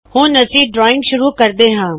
ਹੁਂਣ ਅਸੀ ਡ੍ਰਆਇਂਗ ਸ਼ੁਰੂ ਕਰਦੇ ਹਾ